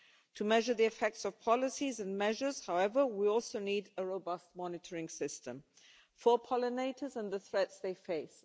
To measure the effects of policies and measures, however, we also need a robust monitoring system for pollinators and the threats they face.